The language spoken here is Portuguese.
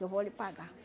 Eu vou lhe pagar.